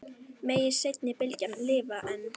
Megi seinni bylgjan lifa enn.